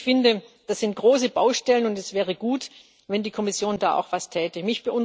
Also ich finde, das sind große Baustellen, und es wäre gut, wenn die Kommission da auch etwas täte.